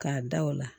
K'a da o la